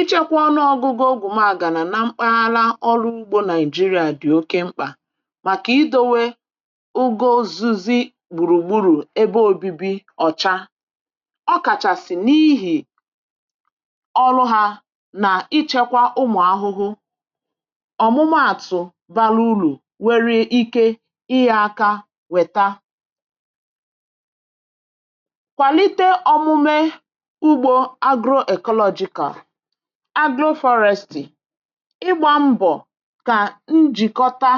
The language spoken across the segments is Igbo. ịchekwa ọnụ ọgụmàgà na mkpàlá ọrụ̀ ụ̀gbọ̀ nígeria dị̀ oke mkpà màkà idòwè ùgwò zù̇zì̇ gbùrùgburù ebe òbìbì ọ̀cha ọ kàchàsị n’ihi ọ̀rụ̀ hà nà ịchekwa ụmụ̀ ahụhụ̀ ọ̀mụ̀maàtụ̀ bàrà ùrù nwere ike íyè aka wètà kwalite omume ụ̀gbọ̀ agroecological agroforestị̀, ịgbà mbọ̀ kà njìkọ̀tà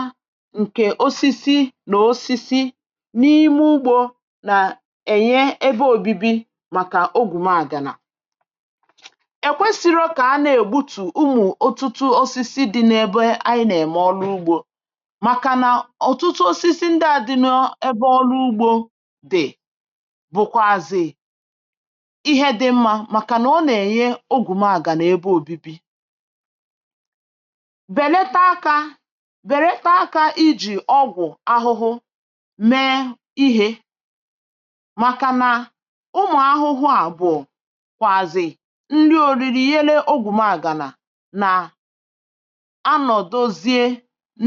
ǹkè osisi na osisi n’ime ụ̀gbọ̀ nà-ènye ebe òbìbì màkà ọ̀gwùmàgànà èkwèsịrị̇ kà à nà-ègbutù ụmụ̀ ọ̀tụtụ̀ osisi dị̇ n’ebe anyị nà-èmè ọ̀rụ̀ ụ̀gbọ̀ um màkànà ọ̀tụtụ̀ osisi ndị a dị̇ nọ̇ ebe ọ̀rụ̀ ụ̀gbọ̀ dị̀ bụ̀kwazị ihe dị mma, màkànà ọ nà-ènye ọgwụ́magànà ebe òbìbì um bèlàtà akà, bèlàtà akà ijì ọgwụ̀ ahụhụ̀ mee ihe, màkà nà ụmụ̀ ahụhụ̀ à bụ̀kwazị nri òrì̇rì̇ yèlée ọ̀gwùmàgànà anọ̀, dozie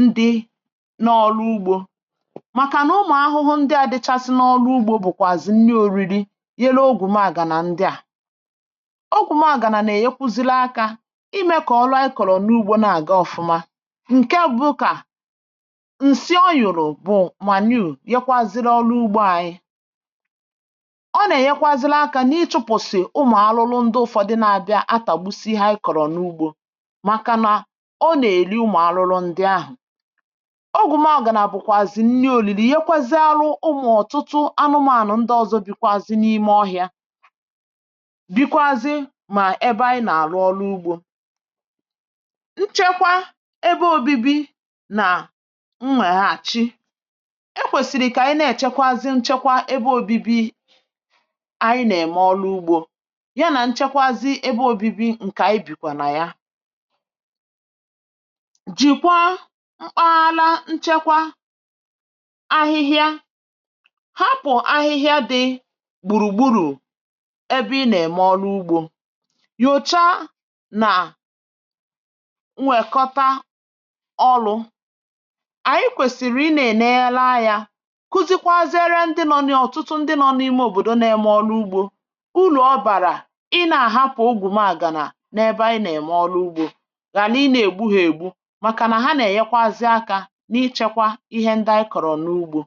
ndị n’ọrụ ụ̀gbọ̀, màkà nà ụmụ̀ ahụhụ̀ ndị à dịchàsị n’ọrụ ụ̀gbọ̀ bụ̀kwazị nri òrì̇rì̇ yèlée ọ̀gwùmàgàna um. ndị à ìmè kọ̀ọrụ a kọ̀rọ̀ n’ụ̀gbọ̀ nà-àgà ọ̀fụ̀ma. ǹkè à bụ̀ụ̀kà ǹsị o nyùrù bụ̀ mànùré, yèkwazịrị̀ ọrụ̀ ụ̀gbọ̀ anyị, ọ nà-ènyekwazịrị̀ akà n’ịchụ̇pụ̀sị̀ ụmụ̀ alụ̀lụ̀ ndị ụ̀fọ̀dị̀ na-àbịa atàgbùsì ihe a í kọ̀rọ̀ n’ụ̀gbọ̀, màkà nà ọ nà-èlì ụmụ̀ alụ̀lụ̀ ndị ahụ̀. ọ̀gwùmàgànà bụ̀kwazị nni olili, yèkwazịrị̀ arụ̀ ụmụ̀ ọ̀tụtụ̀ anụ̀mànụ̀ ndị ọzọ̀ bịkwazị n’ime ọhịa um. dịkwazịrị̀ ma ebe anyị na-ème nchekwa ebe obìbì nà nwèrè àchì, èkwèsìrì kà ànyị na-èchekwazịrị̀ nchekwa ebe obìbì. ànyị nà-èmè ọrụ̀ ụ̀gbọ̀ yà nà nchekwazị ebe obìbì ǹkè ànyị, bìkwà nà ya, jìkwazị mkpàlá nchekwa ahịhịa. hàpụ̀ ahịhịa dị gbùrùgburù ebe ì nà-èmè ọrụ̀ ụ̀gbọ̀ um nà-à nwèkọ̀tà ọ̀lụ̇ ànyị, kwèsìrì ì nà-ènèlà yà, kùzikwazị azụ̇, èré̀ ndị nọ̇ n’í, ọ̀tụtụ̀ ndị nọ n’ime òbòdò nà-èmè ọrụ̀ ụ̀gbọ̀. ùrù ọ bàrà í nà-àhapụ̀ ọ̀gwùmàà gà n’ebe ì nà-èmè ọrụ̀ ụ̀gbọ̀ gà, nà ì nà-ègbù hà ègbù, màkà nà hà nà-ènyekwazị azụ̀ akà n’ịchekwa ihe ndị à í kọ̀rọ̀ n’ụ̀gbọ̀.